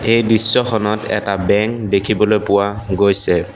এই দৃশ্যখনত এটা বেংক দেখিবলৈ পোৱা গৈছে।